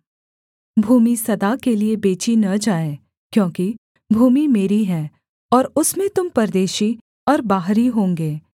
भूमि सदा के लिये बेची न जाए क्योंकि भूमि मेरी है और उसमें तुम परदेशी और बाहरी होंगे